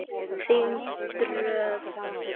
Þín Dröfn.